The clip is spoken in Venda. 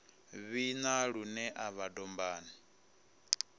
vhina lune u bva dombani